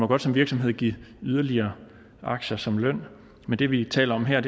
godt som virksomhed give yderligere aktier som løn men det vi taler om her